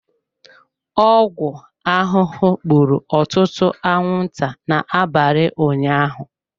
Ọgwụ ahụhụ gburu ọtụtụ anwụnta n'abalị ụnyaahụ.